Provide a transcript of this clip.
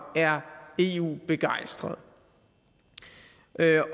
er eu begejstrede